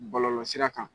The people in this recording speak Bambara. Bɔlɔlɔsira kan